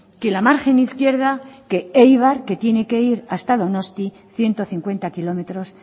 que la margen izquierda que eibar que tiene que ir hasta donosti ciento cincuenta kilómetros